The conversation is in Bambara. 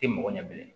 Tɛ mɔgɔ ɲɛ bilen